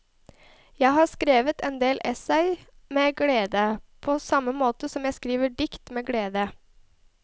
Jeg har skrevet en del essays med glede, på samme måte som jeg skriver dikt med glede.